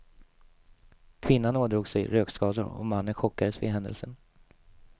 Kvinnan ådrog sig rökskador och mannen chockades vid händelsen.